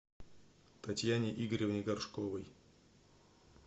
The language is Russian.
татьяне игоревне горшковой